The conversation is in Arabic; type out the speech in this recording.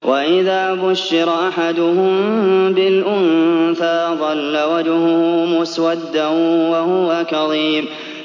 وَإِذَا بُشِّرَ أَحَدُهُم بِالْأُنثَىٰ ظَلَّ وَجْهُهُ مُسْوَدًّا وَهُوَ كَظِيمٌ